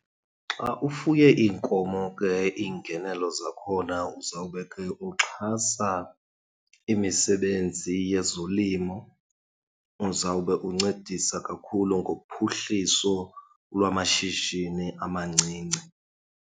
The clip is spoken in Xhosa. Xa ufuye iinkomo ke iingenelo zakhona uzawube ke uxhasa imisebenzi yezolimo. Uzawube uncedisa kakhulu ngophuhliso lwamashishini amancinci.